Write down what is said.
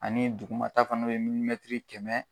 Ani dugumata fana be yen kɛmɛ